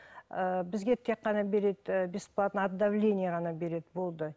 ыыы бізге тек қана береді і бесплатно от давление ғана береді болды